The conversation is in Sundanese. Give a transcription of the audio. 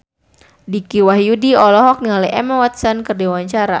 Dicky Wahyudi olohok ningali Emma Watson keur diwawancara